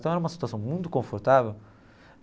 Então era uma situação muito confortável.